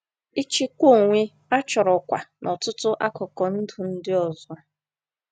Ịchịkwa onwe a chọrọ kwa n’ọtụtụ akụkụ ndụ ndị ọzọ.